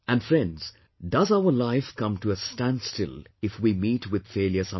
And friends, does our life come to a standstill if we meet with failure sometimes